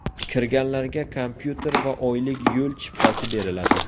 Kirganlarga kompyuter va oylik yo‘l chiptasi beriladi.